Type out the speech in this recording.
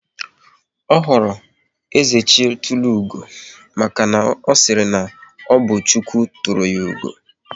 Ọ họrọ "Ezechitulugo" maka na ọ sịrị na ọ bụ "Chukwu tụrụ ya ugo"